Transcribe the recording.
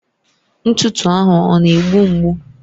Ntụtụ ahụ ọ na-egbu mgbu?